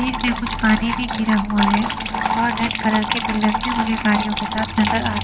पे कुछ पानी भी गिरा हुआ है और रेड कलर के पिलर्स भी मुझे गाड़ियों के साथ नजर आ--